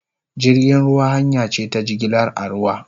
Jirgin ruwa hanya ce ta jigilar a ruwa